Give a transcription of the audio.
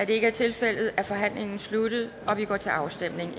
ikke er tilfældet er forhandlingen sluttet og vi går til afstemning